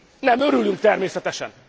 Nem örülünk, természetesen!